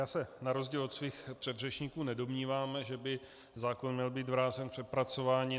Já se na rozdíl od svých předřečníků nedomnívám, že by zákon měl být vrácen k přepracování.